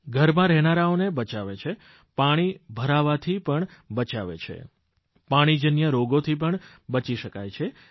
ઘરમાં રહેનારાઓને બચાવે છે પાણી ભરાવાથી પણ બચાવે છે પાણીજન્ય રોગોથી પણ બચી શકાય છે